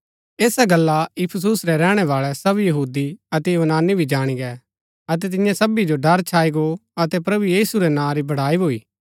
ऐसा गल्ला इफिसुस रै रैहणैवाळै सब यहूदी अतै यूनानी भी जाणी गै अतै तियां सबी जो ड़र छाई गो अतै प्रभु यीशु रै नां री बड़ाई भूई